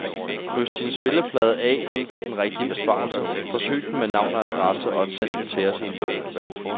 Kryds din spilleplade af ud for den rigtige besvarelse, forsyn den med navn og adresse og send den til os i en lukket kuvert.